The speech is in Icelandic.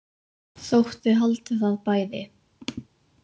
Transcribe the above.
Þótt þið haldið það bæði.